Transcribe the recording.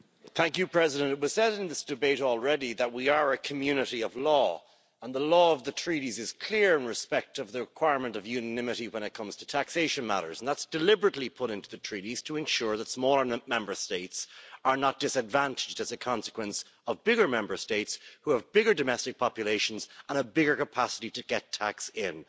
Mr President, it was said in this debate already that we are a community of law and the law of the Treaties is clear in respect of the requirement of unanimity when it comes to taxation matters. That's deliberately put into the treaties to ensure that smaller Member States are not disadvantaged as a consequence of bigger Member States who have bigger domestic populations and a bigger capacity to get tax in.